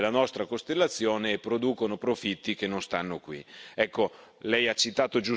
Si avvalgono dei servizi della nostra costellazione e producono profitti che non